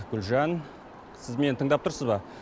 гүлжан сіз мені тыңдап тұрсыз ба